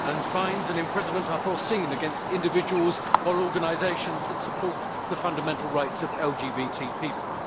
Fines and imprisonment are provided for against individuals or organisations that support the fundamental rights of LGBT people.